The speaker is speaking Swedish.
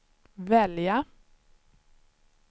välja